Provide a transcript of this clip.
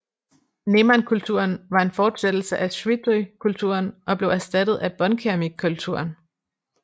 Nemankulturen var en fortsættelse af ŝwidrykulturen og blev erstattet af båndkeramikkulturen